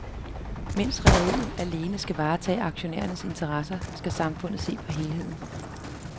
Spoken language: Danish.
Mens rederierne alene skal varetage aktionærernes interesser, skal samfundet se på helheden.